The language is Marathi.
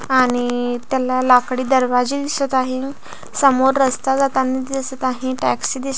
आणि त्याला लाकडी दरवाजे दिसत आहे समोर रस्ता जातांनी दिसत आहे टॅक्सी दिस--